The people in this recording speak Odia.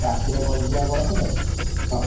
ନା ଆଉ କ'ଣ ରାତିରେ ବସିଯିବା ବସ ରେ ସକାଳେ ପହଞ୍ଚି ଯିବା ଏଠି |